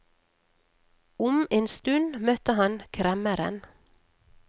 Om en stund møtte han kremmeren.